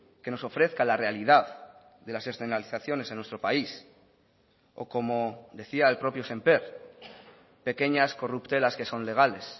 que nos ofrezca la realidad de las externalizaciones en nuestro país o como decía el propio sémper pequeñas corruptelas que son legales